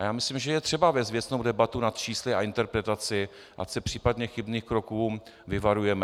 A já myslím, že je třeba vést věcnou debatu nad čísly a interpretaci, ať se případně chybných kroků vyvarujeme.